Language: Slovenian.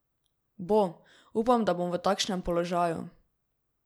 Bo, upam, da bom v takšnem položaju.